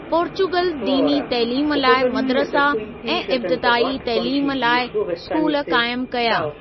Portugal दीनी तइलीम लाइ मदरसा ऐं इब्तिदाई तइलीम लाइ स्कूल क़ाइमु कया।